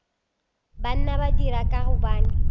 banna ba dira ka gobane